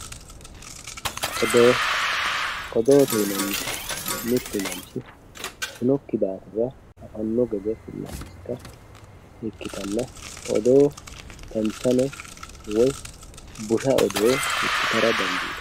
odoo, odoote yinannihu mittu manchi afi'nokki daafira afanno gede kullansita ikkitanna odoo danchano woy busha odoo ikkitara dandiitanno.